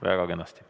Väga kenasti.